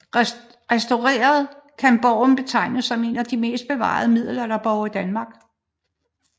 Restaureret kan borgen betegnes som en af de bedst bevarede middelalderborge i Danmark